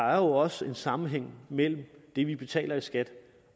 også en sammenhæng mellem det vi taler i skat